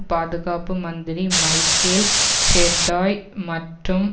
பாதுகாப்பு மந்திரி Michael Chertoff மற்றும்